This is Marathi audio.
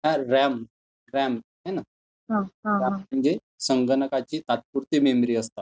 तर रॅम, रॅम है ना? म्हणजे संगणकाची तात्पुरती मेमरी असते.